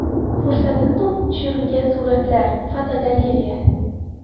Fursatini topib tushirilgan suratlar (fotogalereya).